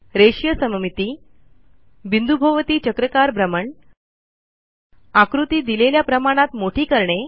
रेषीय सममिती बिंदूभोवती चक्राकार भ्रमण आकृती दिलेल्या प्रमाणात मोठी करणे